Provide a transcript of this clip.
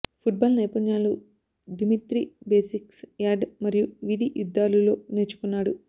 football నైపుణ్యాలు Dimitri basics yard మరియు వీధి యుద్ధాలు లో నేర్చుకున్నాడు